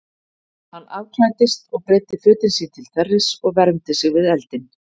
Hann afklæddist og breiddi fötin sín til þerris og vermdi sig við eldinn.